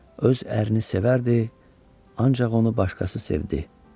Öz ərini sevərdi, ancaq onu başqası sevdi.